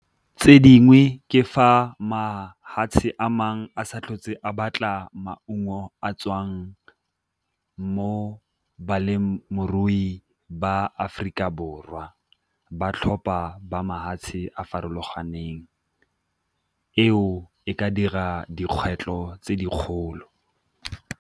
Tse dingwe ke fa mafatshe a mangwe a sa a batla maungo a tswang mo balemirui ba a Aforika Borwa, ba tlhopa ba mafatshe a farologaneng. Eo e ka dira dikgwetlho tse dikgolo.